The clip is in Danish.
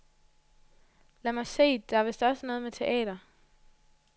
Lad mig se, det er vist også noget med teater.